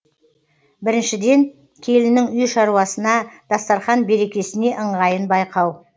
біріншіден келіннің үй шаруасына дастарқан берекесіне ыңғайын байқау